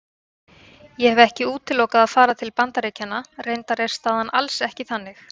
Ég hef ekki útilokað að fara til Bandaríkjanna, reyndar er staðan alls ekki þannig.